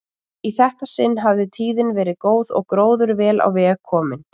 Í þetta sinn hafði tíðin verið góð og gróður vel á veg kominn.